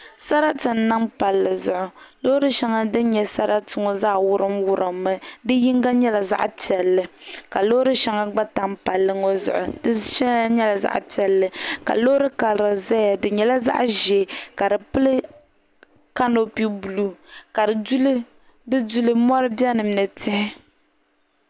Sarati n niŋ palli zuɣu loori shɛŋa din nyɛ sarati ŋɔ zaa wurim wurimmi di yinga nyɛla zaɣ piɛlli ka loori shɛŋa gba tam palli ŋɔ zuɣu di shɛŋa nyɛla zaɣ piɛlli ka loori karili ʒɛya di nyɛla zaɣ ʒiɛ ka di pili kanopi buluu di duli mɔri biɛni ni tihi